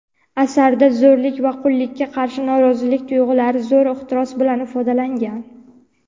Asarda zo‘rlik va qullikka qarshi norozilik tuyg‘ulari zo‘r ehtiros bilan ifodalangan.